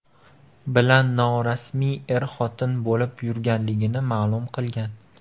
bilan norasmiy er-xotin bo‘lib yurganligini ma’lum qilgan.